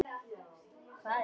Hvað er hún gömul?